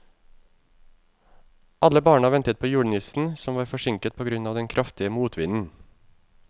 Alle barna ventet på julenissen, som var forsinket på grunn av den kraftige motvinden.